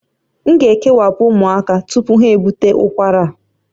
M ga-ekewapụ ụmụaka tupu ha ebute ụkwara a